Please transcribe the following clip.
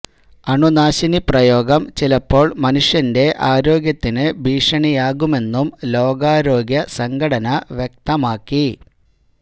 അണുനാശിനി പ്രയോഗം ചിലപ്പോള് മനുഷ്യന്റെ ആരോഗ്യത്തിന് ഭീഷണിയാകുമെന്നും ലോകാരോഗ്യ സംഘടന വ്യക്തമാക്കി